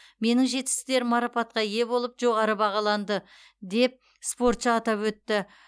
менің жетістіктерім марапатқа ие болып жоғары бағаланды деп спортшы атап өтті